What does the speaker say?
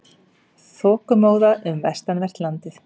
Þokumóða um vestanvert landið